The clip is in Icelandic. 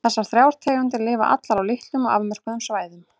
Þessar þrjár tegundir lifa allar á litlum og afmörkuðum svæðum.